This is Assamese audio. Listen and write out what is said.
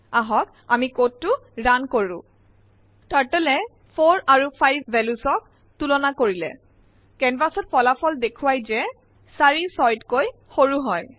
আহক আমি কোড টো ৰান কৰো । টাৰ্টল য়ে 4 আৰু 5 ভেলিউচ ক তুলনা কৰিলে কেনভাচ ত ফলাফল দেখোৱাই যে ৪ ৬তকৈ সৰু হয়